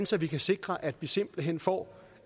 så vi kan sikre at vi simpelt hen får